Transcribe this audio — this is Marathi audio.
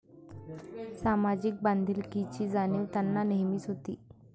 सामाजिक बांधिलकीची जाणीव त्यांना नेहमीच होती.